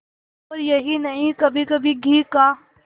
और यही नहीं कभीकभी घी का